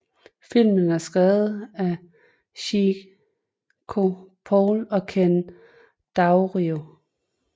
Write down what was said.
Filmen er skrevet af Cinco Paul og Ken Daurio